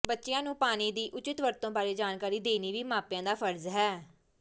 ਬੱਚਿਆਂ ਨੂੰ ਪਾਣੀ ਦੀ ਉਚਿਤ ਵਰਤੋਂ ਬਾਰੇ ਜਾਣਕਾਰੀ ਦੇਣੀ ਵੀ ਮਾਪਿਆਂ ਦਾ ਫ਼ਰਜ਼ ਹੈ